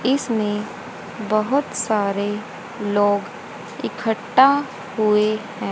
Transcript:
इसमें बोहोत सारे लोग इकट्ठा हुए हैं।